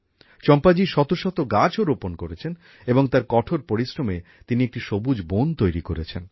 চম্পাজি শত শত গাছও রোপণ করেছেন এবং তার কঠোর পরিশ্রমে তিনি একটি সবুজ বন তৈরি করেছেন